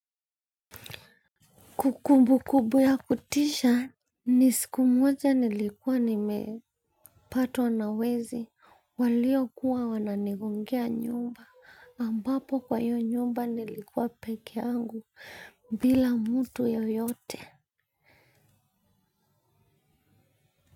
Kukumbukubu ya kutisha, ni siku moja nilikuwa nimepatwa na wezi waliokuwa wananigongea nyumba, ambapo kwa hiyo nyumba nilikuwa peke yangu bila mtu yoyote.